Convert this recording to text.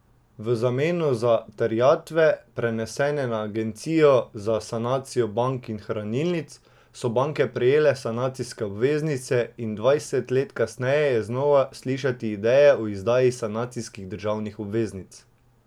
V zameno za terjatve, prenesene na Agencijo za sanacijo bank in hranilnic, so banke prejele sanacijske obveznice in dvajset let kasneje je znova slišati ideje o izdaji sanacijskih državnih obveznic.